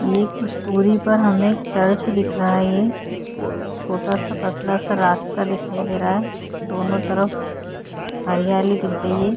एक स्टोरी पर हमें चर्च दिख रहा है ये छोटा सा पतला सा रास्ता दिखाई दे रहा है दोनों तरफ हरियाली दिख रही है।